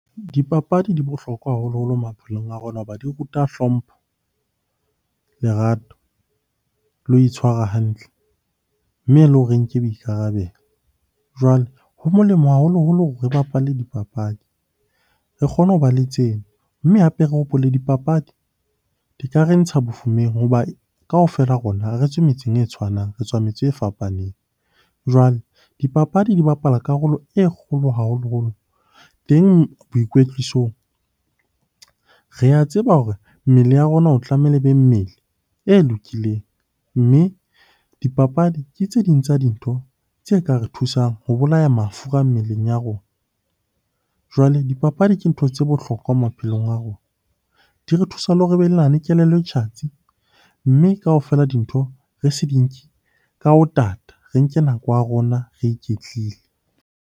Dipapadi di bohlokwa haholoholo maphelong a rona hoba di ruta hlompho, lerato le ho itshwara hantle, mme le hore re nke boikarabelo. Jwale ho molemo haholoholo hore re bapale dipapadi re kgone ho ba le tsena, mme hape re hopole hore dipapadi di ka re ntsha bofumeng. Hoba kaofela rona ha re tswe metseng e tshwanang, re tswa metse e fapaneng. Jwale dipapadi di bapala karolo e kgolo haholoholo teng boikwetlisong. Re a tseba hore mmele ya rona o tlamehile ebe mmele e lokileng, mme dipapadi ke tse ding tsa dintho tse ka re thusang ho bolaya mafura mmeleng ya rona. Jwale dipapadi ke ntho tse bohlokwa maphelong a rona, di re thusa le hore kelello e tjhatsi. Mme kaofela dintho re se di nke ka ho tata, re nke nako ya rona re iketlile.